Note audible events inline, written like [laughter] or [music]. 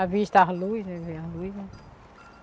A vista, as luzes. [unintelligible] as luz né.